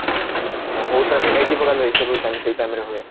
ବହୁତ ସାରା verity ପ୍ରକାର vegetable ସେଇ time ରେ ହୁଏ